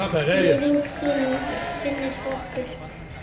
Minning þín lifir hjá okkur.